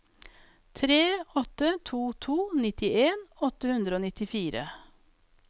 tre åtte to to nittien åtte hundre og nittifire